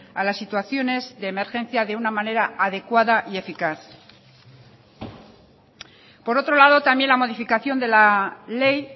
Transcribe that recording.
a las situaciones de emergencia de una manera adecuada y eficaz por otro lado también la modificación de la ley